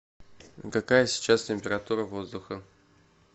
какая сейчас температура воздуха